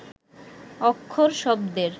অক্ষর শব্দের